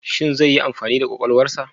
Shin zai yi amfani da kwakwalwarsa?